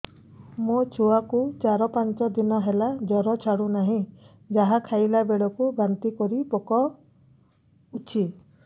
ମୋ ଛୁଆ କୁ ଚାର ପାଞ୍ଚ ଦିନ ହେଲା ଜର ଛାଡୁ ନାହିଁ ଯାହା ଖାଇଲା ବେଳକୁ ବାନ୍ତି କରି ପକଉଛି